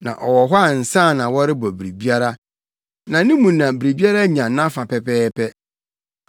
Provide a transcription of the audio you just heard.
Na ɔwɔ hɔ ansa na wɔrebɔ biribiara, na ne mu na biribiara nya nʼafa pɛpɛɛpɛ.